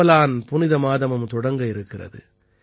ரமலான் புனித மாதமும் தொடங்கவிருக்கிறது